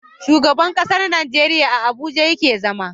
Shugaban ƙasar Nigeria a abuja yake zama